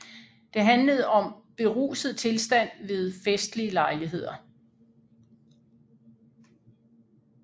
Det handlede om beruset tilstand ved festlige lejligheder